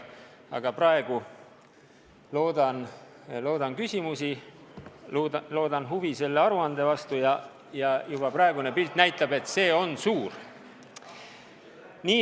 Aga praegu loodan küsimusi, loodan huvi selle aruande vastu, ja praegune pilt näitab, et see on suur.